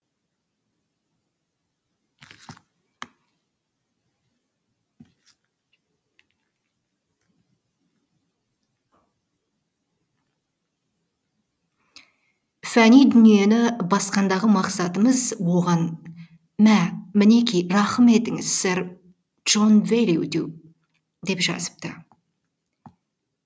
фани дүниені басқандағы мақсатымыз оған мә мінеки рахым етіңіз сэр джон велью деу деп жазыпты